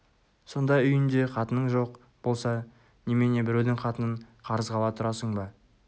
сонда үйінде қатының жоқ болса немене біреудің қатынын қарызға ала тұрасың ба